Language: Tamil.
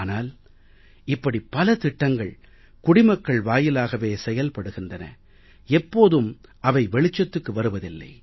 ஆனால் இப்படி பல திட்டங்கள் குடிமக்கள் வாயிலாகவே செயல்படுகின்றன எப்போதும் அவை வெளிச்சத்துக்கு வருவதில்லை